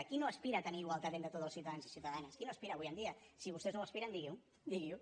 qui no aspira a tenir igualtat entre tots els ciutadans i ciutadanes qui no hi aspira avui en dia si vostès no hi aspiren diguin ho